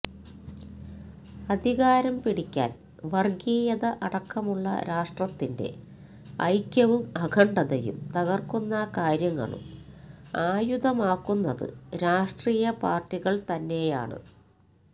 അധികാരം പിടിക്കാന് വര്ഗീയത അടക്കമുള്ള രാഷ്ട്രത്തിന്റെ ഐക്യവും അഖണ്ഡതയും തകര്ക്കുന്ന കാര്യങ്ങളും ആയുധമാക്കുന്നത് രാഷ്ട്രീയ പാര്ട്ടികള് തന്നെയാണ്